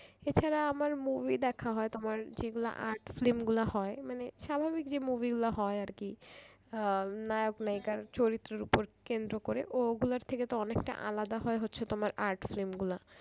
এছাড়া আমার movie দেখা হয় তোমার যেগুলা art film গুলো হয় মানে স্বাভাবিক যে movie গুলা হয় আর কি আহ নায়ক নায়িকার চরিত্রের উপর কেন্দ্র করে ওগুলার থেকে তো অনেকটা আলাদা হচ্ছে তোমার art film গুলা